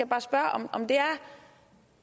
bare spørge om det er